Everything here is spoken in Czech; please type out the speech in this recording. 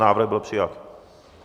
Návrh byl přijat.